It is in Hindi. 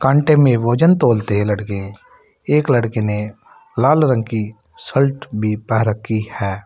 में भोजन तौलते है लड़के एक लड़के ने लाल रंग की शल्ट भी पह रखी है।